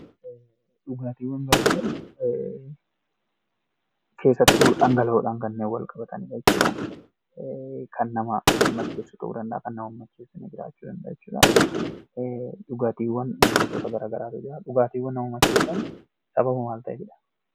Dhugaatiiwwan gaafa jennu, keessattuu dhangala'oodhaan kanneen wal qabatanii dha jechuu dha. Kan nama macheessu ta'uu danda'a; kan nama hin macheessine jiraachuu danda'a jechuu dha. Dhugaatiiwwan gosoota garaagaraatu jira. Dhugaatiiwwan nama macheessan sababa maal ta'eefi dha.